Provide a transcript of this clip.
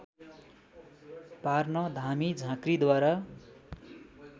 पार्न धामी झाँक्रिद्वारा